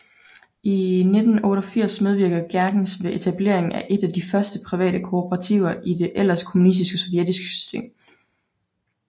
I 1988 medvirkede Gerkens ved etableringen af én af de første private kooperativer i det ellers kommunistiske sovjetiske system